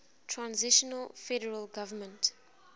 transitional federal government